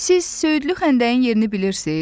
Siz söyüdlü xəndəyin yerini bilirsiz?